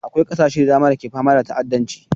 Akwai ƙasashe da dama da ke fama da ta'addanci